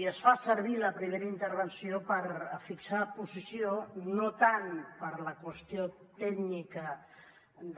i es fa servir la primera intervenció per fixar posició no tant per la qüestió tècnica